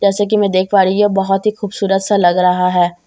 जैसा की मै देख पा रही हुँ ये बहोत ही खुबसूरत सा लग रहा है।